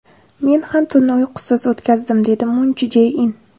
Men ham tunni uyqusiz o‘tkazdim”, dedi Mun Chje In.